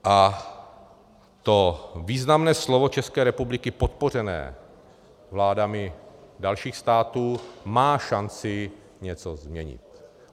A to významné slovo České republiky podpořené vládami dalších států má šanci něco změnit.